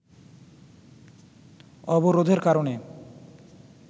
অবরোধের কারণে